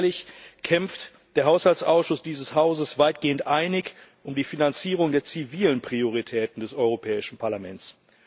Alljährlich kämpft der Haushaltsausschuss dieses Hauses weitgehend einig um die Finanzierung der zivilen Prioritäten des Europäischen Parlaments.